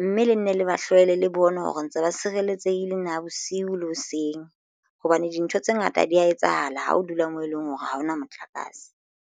mme le nne le ba hlwele le bona hore ntse ba sireletsehile na bosiu le hoseng hobane dintho tse ngata di ya etsahala ha o dula moo e leng hore ha hona motlakase.